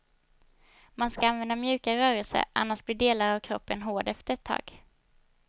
Man ska använda mjuka rörelser, annars blir delar av kroppen hård efter ett tag.